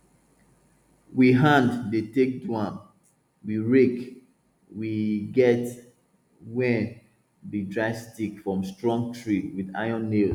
we hand dey take do am with rake we get wey be dry stick from strong tree with iron nails